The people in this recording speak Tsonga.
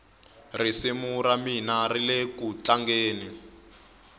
risimu ramina rilekutlangeni